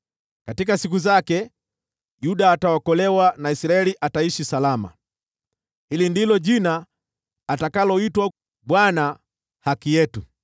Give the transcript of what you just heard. Katika siku zake, Yuda ataokolewa na Israeli ataishi salama. Hili ndilo jina atakaloitwa: Bwana Haki Yetu.